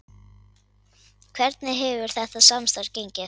Hvernig hefur þetta samstarf gengið?